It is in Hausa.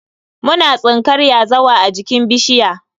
Muna tsinkar yazawa a jikin bishiya.